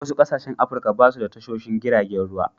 Wasu ƙasashen Afrika ba su da tashoshon giragen ruwa.